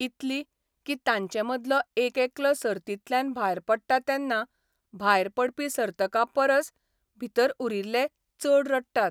इतली, कीं तांचे मदलो एक एकलो सर्तीतल्यान भायर पडटा तेन्ना भायर पडपी सर्तका परस भितर उरिल्ले चड रडटात.